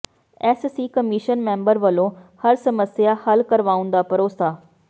S C commission member ਵੱਲੋਂ ਹਰ ਸਮੱਸਿਆ ਹੱਲ ਕਰਵਾਉਣ ਦਾ ਭਰੋਸਾ